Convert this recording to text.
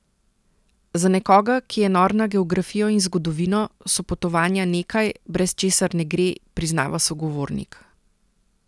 Za nekoga, ki je nor na geografijo in zgodovino, so potovanja nekaj, brez česar ne gre, priznava sogovornik.